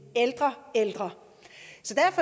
ældre ældre